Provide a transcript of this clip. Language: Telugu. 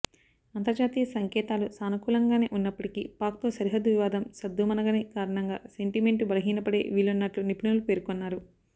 అంతర్జాతీయ సంకేతాలు సానుకూలంగానే ఉన్నప్పటికీ పాక్తో సరిహద్దు వివాదం సద్దుమణగని కారణంగా సెంటిమెంటు బలహీనపడే వీలున్నట్లు నిపుణులు పేర్కొన్నారు